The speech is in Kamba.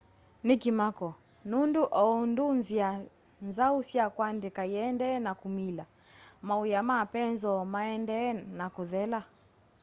ni kimako nundu oundu nzia nzau sya kuandika iendee na kumila mawia ma penzoo maendee na kuthela